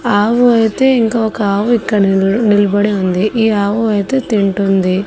ఆవు అయితే ఇంక ఒక ఆవు ఇక్కడ నిల్ నిల్బడి ఉంది ఈ ఆవు అయితే తింటుంది.